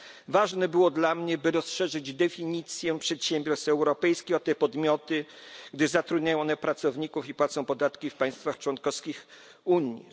Ważne było dla mnie, by rozszerzyć definicję przedsiębiorstw europejskich o te podmioty, gdyż zatrudniają one pracowników i płacą podatki w państwach członkowskich Unii.